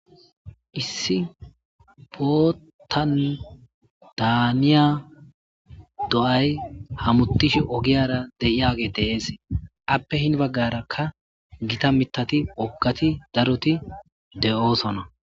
Issi botandaaniya do'ay hamutishe ogiyara deiyage deeesee appe hin baggarakka gita mitati oggati daroti de'oosona.